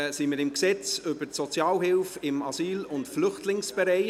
Wir sind beim Gesetz über die Sozialhilfe im Asyl- und Flüchtlingsbereich (SAFG).